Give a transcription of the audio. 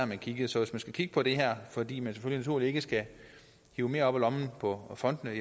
man kiggede så hvis man skal kigge på det her fordi man sagens natur ikke skal hive mere op af lommen på fondene